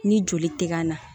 Ni joli tɛ ka na